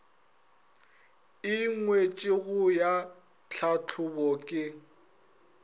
e ngwetšwego ya tlhahlobo ke